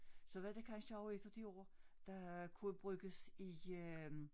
Så var det kansje også et af de ord der kunne bruges i øh